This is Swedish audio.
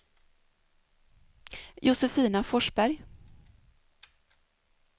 Josefina Forsberg